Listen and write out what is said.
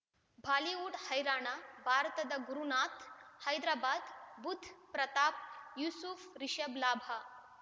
Bollywood ಹೈರಾಣ ಭಾರತದ ಗುರುನಾಥ ಹೈದರಾಬಾದ್ ಬುಧ್ ಪ್ರತಾಪ್ ಯೂಸುಫ್ ರಿಷಬ್ ಲಾಭ